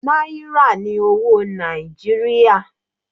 Náírà ní owó Nàìjíríà.